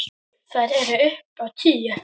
Þær eru upp á tíu.